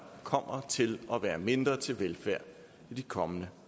kommer til at være mindre til velfærd i de kommende